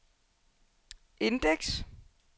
indeks